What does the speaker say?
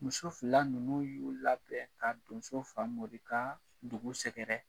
Muso fila ninnu y'u labɛn ka donso Famori ka dugu sɛgɛrɛ